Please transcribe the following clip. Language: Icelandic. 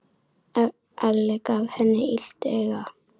Alli gaf henni illt auga.